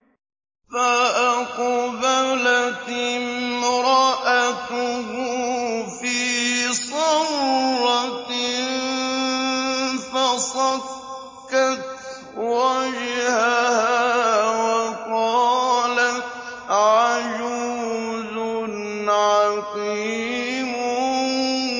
فَأَقْبَلَتِ امْرَأَتُهُ فِي صَرَّةٍ فَصَكَّتْ وَجْهَهَا وَقَالَتْ عَجُوزٌ عَقِيمٌ